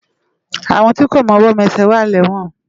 Awón ti kó mòwò ti kó mèsè wà ni èwòn